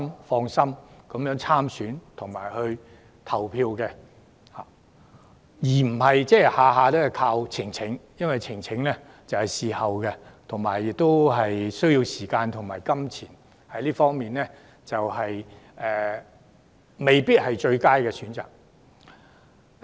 單靠選舉呈請這個途徑並不足夠，因為呈請須在事發後才提出，申請者亦須付上時間和費用，因此未必是最佳的選擇。